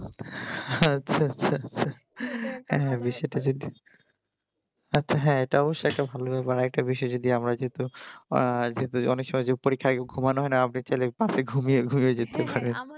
হ্যাঁ আচ্ছা আচ্ছা হ্যাঁ আচ্ছা হ্যাঁ তা অবশ্য এইটা ভালো অনেক সময় পরীক্ষায় ঘুমানো হয় না